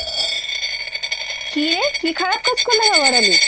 কীরে কী খারাপ কাজ করলাম আবার আমি ?